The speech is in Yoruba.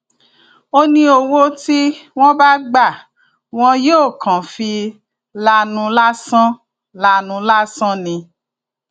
ó ní owó tí wọn bá gbà wọn yóò kàn fi lanu lásán lanu lásán ni